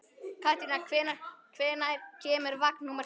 Katrína, hvenær kemur vagn númer fimm?